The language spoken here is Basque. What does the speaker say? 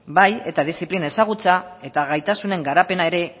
bai eta diziplina ezagutza eta gaitasunen garapena ere